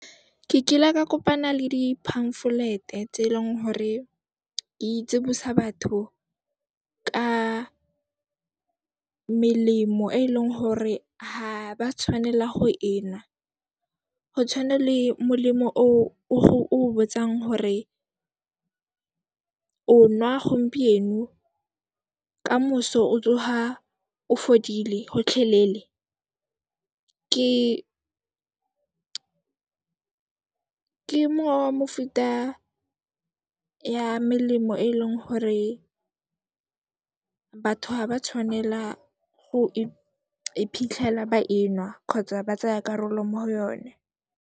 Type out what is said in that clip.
Ke kile ka kopana le di pamphlet-e tse e leng hore di tsibusa batho ka melemo e e leng hore ha ba tshwanela go enwa, go tshwana le molemo o o go botsang hore o nwa gompieno, ka moso o tsoga o fodile gotlhelele. Ke nngwe wa mofuta ya melemo e e leng hore batho ha ba tshwanela go iphitlhela ba enwa kgotsa ba tsaya karolo mo go yone.